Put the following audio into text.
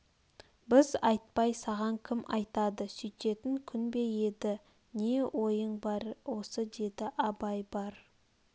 біз айтпай саған кім айтады сүйтетн күн бе еді не ойың бар осы деді абай бар